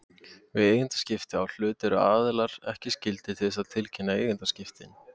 Við eigendaskipti að hlut eru aðilar ekki skyldir til þess að tilkynna eigendaskiptin.